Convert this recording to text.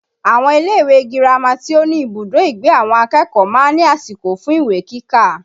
Àwọn ilé ìwé girama tí ó ní ibùdó ìgbé àwọn akẹ́kọ̀ọ́ máa ń ní àsìkò fún ìwé kíkà